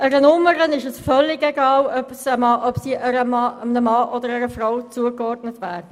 Einer Nummer ist es völlig egal, ob sie einem Mann oder einer Frau zugeordnet wird.